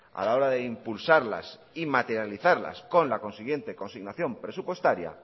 a la hora de impulsarlas y materializarlas con la consiguiente consignación presupuestaria